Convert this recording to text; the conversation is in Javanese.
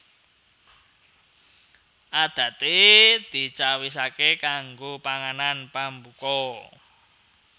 Adaté dicawisaké kanggo panganan pambuka